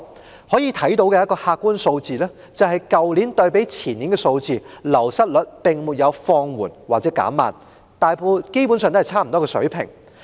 從可以看到的客觀數字可見，去年的流失率較前年並沒有放緩或減慢，基本上維持於相若水平。